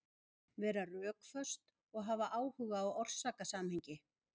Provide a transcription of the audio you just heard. Vera rökföst og hafa áhuga á orsakasamhengi.